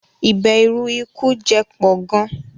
Ìbèrù ikú jẹ pọ̀ gàn